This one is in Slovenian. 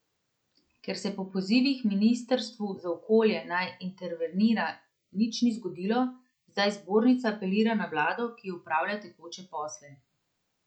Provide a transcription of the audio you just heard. Ker se po pozivih Ministrstvu za okolje, naj intervenira, nič ni zgodilo, zdaj Zbornica apelira na vlado, ki opravlja tekoče posle.